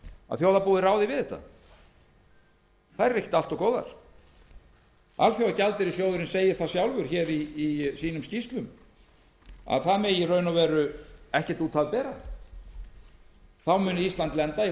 að þjóðarbúið ráði við þetta þær eru ekki allt of góðar alþjóðagjaldeyrissjóðurinn segir það sjálfur í skýrslum sínum að í raun og veru megi ekkert út af bera þá muni ísland lenda í